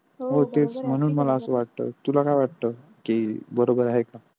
हो तोच म्हणून मला असं वाटतं तुला काय वाटतं की बरोबर आहे का